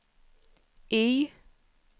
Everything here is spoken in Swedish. Y